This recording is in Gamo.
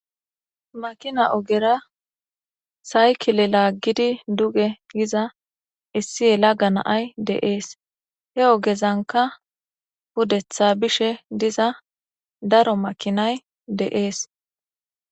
makina ogera saykile laaggidi duge giza issi yela ga naay deees he ogezanka pudetha bishe diza daro makinay de'ees